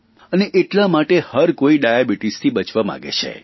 અને એટલા માટે હરકોઇ ડાયાબીટીસથી બચવા માગે છે